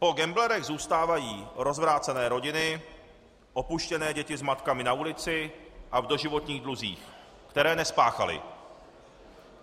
Po gamblerech zůstávají rozvrácené rodiny, opuštěné děti s matkami na ulici a v doživotních dluzích, které nespáchali.